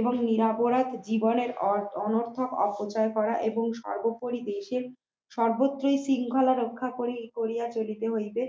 এবং নীরঅপরাধ জীবনের অনর্থক অপচয় করা এবং সর্বোপরিশেষে সর্বত্র শৃঙ্খলা রক্ষা করি করিয়া চলিতে হইবে